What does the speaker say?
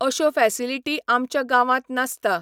अश्यो फॅसिलिटी आमच्या गांवांत नासता.